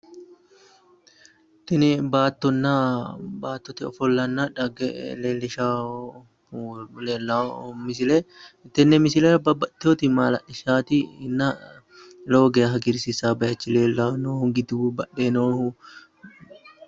Tini baattonna baattote ofollanna dhagge leellishshawo misile tenne misilera babbaxxiteyooti maala'lisaatinna lowo geya hagirsiisawo bayiichi leellonno gidu badheenni noohu.